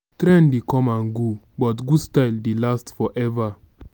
trend dey come and go but good style dey last forever.